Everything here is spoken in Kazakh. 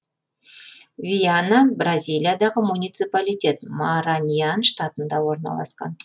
виана бразилиядағы муниципалитет мараньян штатында орналасқан